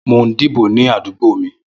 Mó n dibó ni àdúgbó mi